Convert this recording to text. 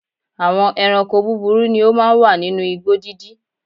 Àwọn ẹranko búburú ni ó máa ń wà nínú igbó dídí.